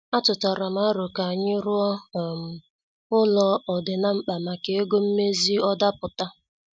Atutaram alo ka anyị ruo um ụlọ ọ dị na- mkpa maka ego mmezi ọ daputa.